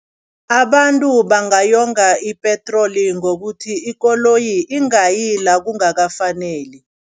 Abantu bangayonga ipetroli ngokuthi, ikoloyi ingayi la kungakafaneli.